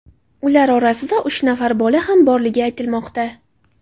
Ular orasida uch nafar bola ham borligi aytilmoqda.